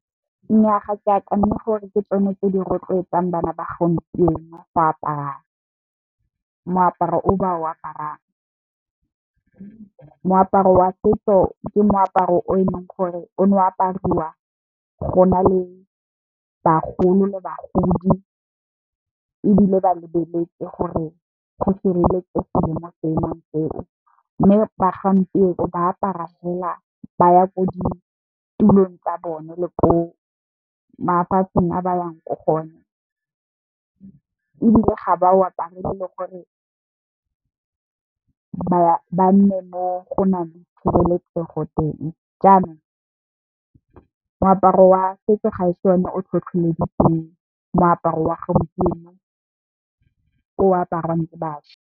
Nnyaa ga ke akanye gore ke tsone tse di rotloetsang bana ba gompienong go apara, moaparo o ba o aparang. Moaparo wa setso ke moaparo o e leng gore o ne o apariwa go na le bagolo le bagodi, ebile ba lebeletse gore go sireletsegile mo seemong seo. Mme ba gompieno ba apara fela ba ya ko ditulong tsa bone le ko mafatsheng a ba yang ko gone, ebile ga ba o aparele le gore ba nne mo go nang le tshireletsego teng. Jaanong moaparo wa setso ga e se one o tlhotlheleditseng moaparo wa gompieno o aparwang ke bašwa.